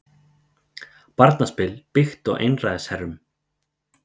Barnaspil byggt á einræðisherrum